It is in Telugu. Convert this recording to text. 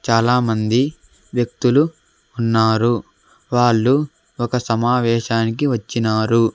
చాలామంది వ్యక్తులు ఉన్నారు వాళ్ళు ఒక సమావేశానికి వచ్చినారు.